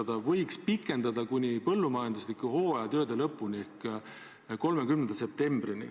Seda luba võiks pikendada kuni põllumajanduslike hooajatööde lõpuni ehk 30. septembrini.